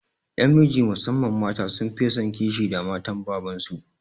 Ƴan miji musamman mata sun fiye son kishi da matan baban su